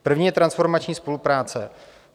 První je transformační spolupráce.